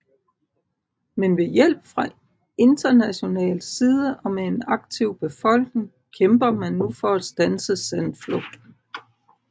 Men ved hjælp fra international side og med en aktiv befolkning kæmper man nu for at standse sandflugten